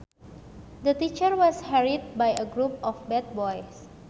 The teacher was harried by a group of bad boys